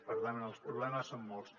per tant els problemes són molts